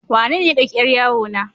Wanene ya ɗauki yar yawo na?